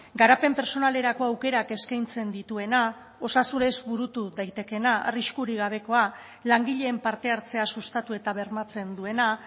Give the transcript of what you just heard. garapen pertsonalerako aukerak eskaintzen dituena osasunez burutu daitekeena arriskurik gabekoa langileen parte hartzea sustatu eta bermatzen duena